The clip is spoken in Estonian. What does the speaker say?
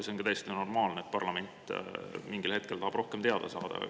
See on ka täiesti normaalne, et parlament mingil hetkel tahab rohkem teada saada.